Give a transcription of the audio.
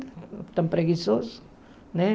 Estão preguiçosos, né?